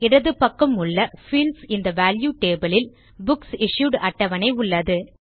இடது பக்கம் உள்ள பீல்ட்ஸ் இன் தே வால்யூ டேபிள் இல் புக்ஸ் இஷ்யூட் அட்டவணை உள்ளது